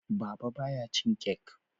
Baba ba ya cin kek